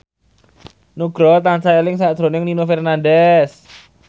Nugroho tansah eling sakjroning Nino Fernandez